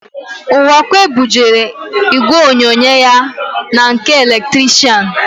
Ụwakwe bujere ígwèonyonyo ya na nke eletrishian.